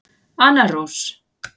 Anna Rós.